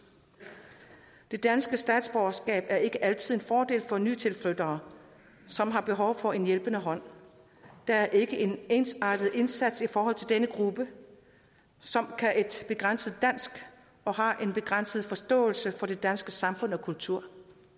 det danske statsborgerskab er ikke altid en fordel for nytilflyttere som har behov for en hjælpende hånd der er ikke en ensartet indsats i forhold til denne gruppe som har et begrænset dansk og har en begrænset forståelse for det danske samfund og kultur